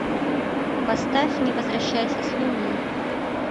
поставь не возвращайся с луны